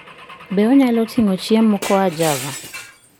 Be onyalo ting'o chiemo koa Java?